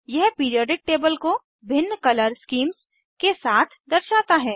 यह periodic table को भिन्न कलर स्कीम्स के साथ दर्शाता है